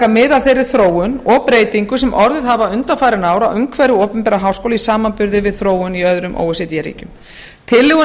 af þeirri þróun og breytingum sem orðið hafa undanfarin ár á umhverfi opinberra háskóla í samanburði við þróun í öðrum o e c d ríkjum tillögur